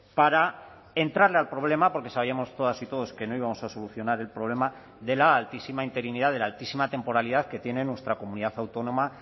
para entrarle al problema porque sabíamos todas y todos que no íbamos a solucionar el problema de la altísima interinidad de la altísima temporalidad que tiene nuestra comunidad autónoma